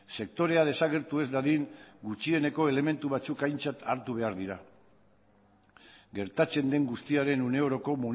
sektorea desagertu ez dadin gutxieneko elementu batzuk aintzat hartu behar dira gertatzen den guztiaren une oroko